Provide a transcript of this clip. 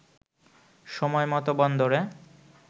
সময়মত বন্দরে